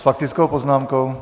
S faktickou poznámkou?